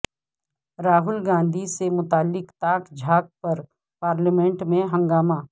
راہول گاندھی سے متعلق تاک جھانک پر پارلیمنٹ میں ہنگامہ